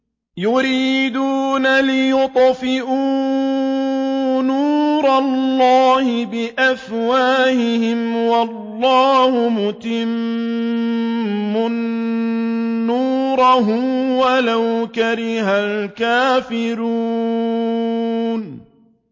يُرِيدُونَ لِيُطْفِئُوا نُورَ اللَّهِ بِأَفْوَاهِهِمْ وَاللَّهُ مُتِمُّ نُورِهِ وَلَوْ كَرِهَ الْكَافِرُونَ